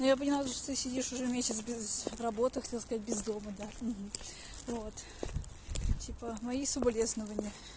ну я поняла что ты сидишь уже месяц без работы хотела сказать без дома да вот типа мои соболезнования